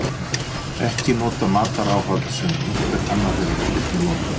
ekki nota mataráhöld sem einhver annar hefur einnig notað